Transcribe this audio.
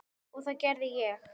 Og það gerði ég.